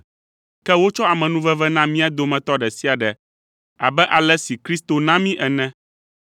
Ke wotsɔ amenuveve na mía dometɔ ɖe sia ɖe abe ale si Kristo na mí ene.